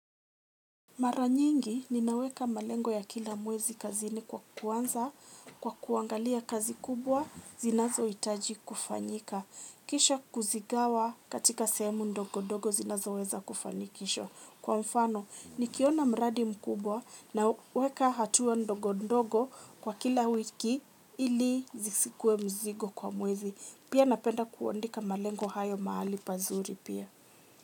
Mara nyingi, ninaweka malengo ya kila mwezi kazini kwa kuanza kwa kuangalia kazi kubwa zinazo itaji kufanyika. Kisha kuzigawa katika semu ndogo ndogo zinazoweza kufanyikisho. Kwa mfano, nikiona mradi mkubwa naweka hatua ndogo ndogo kwa kila wiki ili zisikue mzigo kwa mwezi. Pia napenda kuandika malengo hayo mahali pazuri pia.